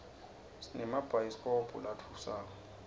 sinemabhayidikobho latfusako